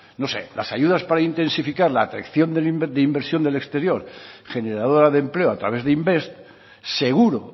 no sé las ayudas para intensificar la atracción de inversión del exterior generadora de empleo a través de invest seguro